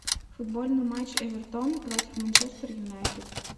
футбольный матч эвертона против манчестер юнайтед